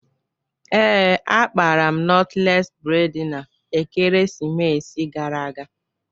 Ee, akpara m nọtles bredna ekeresimesi gara aga